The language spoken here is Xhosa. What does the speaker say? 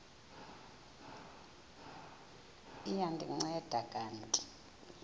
liya ndinceda kanti